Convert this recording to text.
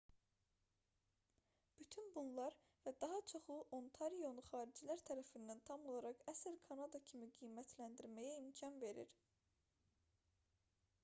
bütün bunlar və daha çoxu ontarionu xaricilər tərəfindən tam olaraq əsl kanada kimi qiymətləndirməyə imkan verir